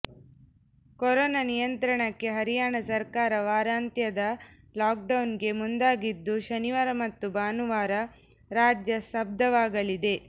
corona ನಿಯಂತ್ರಣಕ್ಕೆ ಹರಿಯಾಣ ಸರ್ಕಾರ ವಾರಾಂತ್ಯದ ಲಾಕ್ ಡೌನ್ ಗೆ ಮುಂದಾಗಿದ್ದು ಶನಿವಾರ ಮತ್ತು ಭಾನುವಾರ ರಾಜ್ಯ ಸ್ಥಬ್ಧವಾಗಲಿದೆ